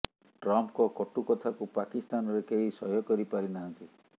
ଟ୍ରମ୍ପଙ୍କ କଟୁ କଥାକୁ ପାକିସ୍ତାନରେ କେହି ସହ୍ୟ କରି ପାରି ନାହାନ୍ତି